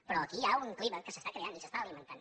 però aquí hi ha un clima que s’està creant i s’està alimentant